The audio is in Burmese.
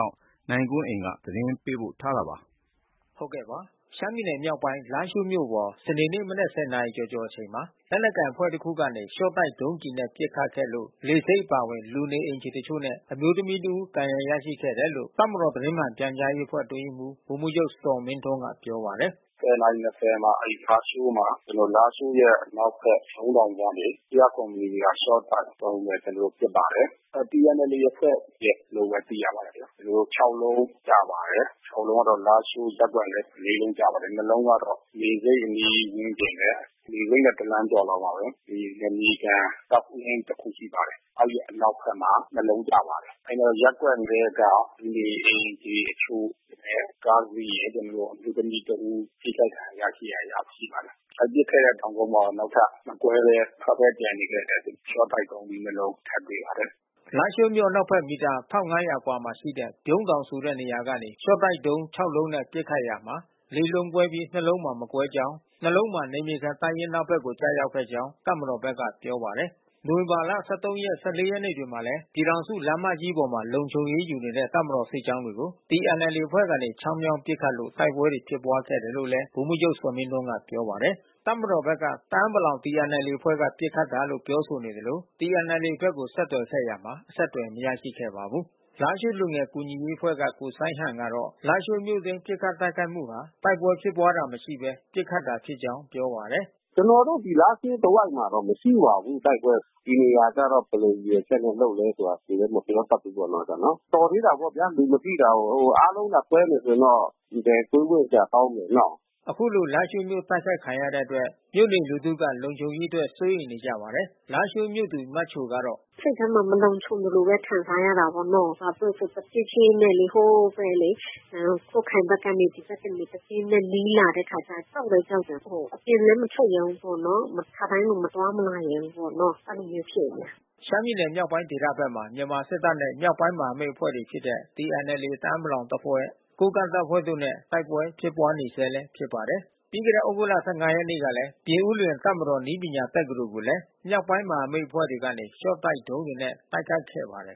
ောက် နိုင်ကွန်းအိန် သတင်းပေးပို့ထားပါတယ်။ ရှမ်းပြည်နယ်မြောက်ပိုင်း လားရှိုးမြို့ပေါ် စနေနေ့မနက် ၁၀ နာရီကျော်ကျော်အချိန်မှာ လက်နက်ကိုင်အဖွဲ့တခုက ရှော့တိုက်ဒုံးကျည်နဲ့ ပစ်ခတ်ခဲ့လို့ လေဆိပ်အပါအဝင် လူနေအိမ်တချို့နဲ့ အမျိုးသမီးတဦး ဒဏ်ရာရခဲ့တယ်လို့ တပ်မတော် သတင်းမှန်ပြန်ကြားရေးအဖွဲ့ အတွင်းရေးမှူး ဗိုလ်မှူးချုပ် ဇော်မင်းထွန်းက ပြောပါတယ်။ “၁၀ နာရီ ၂၀ မှာ လားရှိုးမှာ ကျနော်တို့ လားရှိုးရဲ့အနောက်ဘက် ဗြုံးတောင်ကနေ ၁၀၇ မီလီမီတာ ရှော့တိုက်ဒုံးနဲ့ ကျနော်တို့ကို ပစ်ပါတယ်။ TNLA အဖွဲ့လို့ပဲ သိရပါတယ်။ ကျနော်တို့ ၆ လုံးကျပါတယ်။ ၆ လုံးကတော့ လားရှိုးရပ်ကွက်ထဲ ၄ လုံးကျပါတယ်။ ၂ လုံးကတော့ လေဆိပ်အနီးဝန်းကျင်ရယ်၊ လေဆိပ်နဲ့ တလမ်းကျော်မှာပါပဲ။ နယ်မြေခံတပ်ရင်းတခု ရှိပါတယ်။ မဲဒီအနောက်ဘက်မှာ ၂ လုံးကျပါတယ်။ ရပ်ကွက်ထဲက လူနေအိမ်တွေတချို့ရယ်၊ ကားတစီးရယ်၊ အမျိုးသမီးတဦး ထိခိုက်ဒဏ်ရာ ရရှိပါတယ်။ အဲပစ်ခဲ့တဲ့ တောင်ကုန်းပေါ်မှာပဲ နောက်ထပ် မကွဲဘဲ မထွက်ဘဲ ကျန်နေခဲ့တဲ့ ရှော့တိုက်ဒုံးသီးနှစ်လုံး ထပ်တွေ့ရတယ်။” လားရှိုးမြို့အနောက်ဘက် မီတာ ၁၅၀၀ အကွာရှိ ဗြုံးတောင်ဆိုတဲ့ နေရာကနေ ရှော့တိုက်ဒုံး ၆ လုံးနဲ့ ပစ်ခတ်ရာမှာ ၄ လုံးကွဲပြီး ၂ လုံးမှာ မကွဲကြောင်း၊ ၂ လုံးမှာ နယ်မြေခံတပ်ရင်းအနောက်ဘက်ကို ကျရောက်ခဲ့ကြောင်း တပ်မတော်ဘက်က ပြောပါတယ်။ နိုဝင်ဘာလ ၁၃၊ ၁၄ ရက်နေ့တွေမှာ ပြည်ထောင်စုလမ်းမကြီးပေါ် လုံခြုံရေးယူနေတဲ့ တပ်မတော်စစ်ကြောင်းတွေကို TNLA အဖွဲ့က ချောင်းမြောင်းပစ်ခတ်လို့ တိုက်ပွဲဖြစ်ပွားခဲ့တယ်လို့လည်း ဗိုလ်မှူးချုပ် ဇော်မင်းထွန်းက ပြောပါတယ်။ တပ်မတော်ဘက်က တအာင်းပလာင် TNLA အဖွဲ့က ပစ်ခတ်တာလို့ ပြောဆိုနေသလို TNLA ဘက်ကို ဆက်သွယ်ခဲ့ရာမှာ အဆက်သွယ် မရရှိခဲ့ပါဘူး။ လားရှိုးလူငယ်ကူညီရေးအဖွဲ့က ကိုစိုင်းဟန်ကတော့ လားရှိုးမြို့အတွင်း ပစ်ခတ်မှုဟာ တိုက်ပွဲဖြစ်ပွားတာမရှိဘဲ ပစ်ခတ်တာဖြစ်ကြောင်း ပြောပါတယ်။ “ကျနော်တို့ ဒီ လားရှိုးတဝိုက်မှာ မရှိပါဘူး တိုက်ပွဲ။ ဒီနေရာကတော့ ဘယ်လိုရည်ရွယ်ချက်နဲ့ လုပ်လဲဆိုတာ ဘယ်သူလဲ မပြောတတ်ဘူးနော်။ တော်သေးတာပေါ့ဗျာ လူမထိတာကို။ အားလုံးသာကွဲမယ်ဆိုရင်တော့ ဘယ်တွေးဝံ့စရာ ကောင်းမလဲနော။” အခုလို လာရှိုးမြို့ တိုက်ခိုက်ခံရတဲ့အတွက် မြို့နေလူထုက လုံခြုံရေးအတွက် စိုးရိမ်နေကြပါတယ်။ လာရှိုးမြို့သူ မချိုက “စိတ်ထဲမှာ မလုံခြုံသလိုဘဲ ခံစားရတာပေါ့နော။ ဘာဖြစ်လို့လဲဆိုတော့ တဖြည်းဖြည်းနဲ့လေ ဟိုး ကွတ်ခိုင်ဘက်ကနေ ဒီဘက်ကို တဖြည်းဖြည်းနဲ့ နီးလာတဲ့အခါကျတော့ အမ ကြောက်လည်းကြောက်တယ်။ အပြင်လည်း မထွက်ရဲဘူး။ သိပ်ပြီး ခါတိုင်းလို မသွားမလာရဲဘူးပေါ့နော အဲလိုမျိုး ဖြစ်နေတယ်” လို့ ပြောပါတယ်။ ရှမ်းပြည်နယ်မြောက်ပိုင်းဒေသဘက်မှာ မြန်မာစစ်တပ်နဲ့ မြောက်ပိုင်းမဟာမိတ်အဖွဲ့တွေဖြစ်တဲ့ TNLA တအာင်းပလောင်အဖွဲ့၊ ကိုးကန့်တပ်ဖွဲ့တို့နဲ့ တိုက်ပွဲဖြစ်ပွားနေဆဲလည်း ဖြစ်ပါတယ်။ ပြီးခဲ့တဲ့ သြဂုတ်လ ၁၅ ရက်နေ့ကလည်း ပြင်ဦးလွင် တပ်မတော်နည်းပညာတက္ကသိုလ်ကိုလည်း မြောက်ပိုင်းမဟာမိတ်အဖွဲ့တွေကနေ ရှော့တိုက်ဒုံးတွေနဲ့ တိုက်ခိုက်ခဲ့ပါတယ်